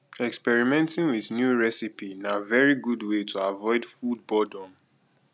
experimenting with new recipe na very good way to avoid food boredom